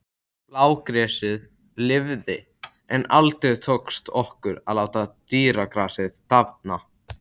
Blágresið lifði, en aldrei tókst okkur að láta dýragrasið dafna.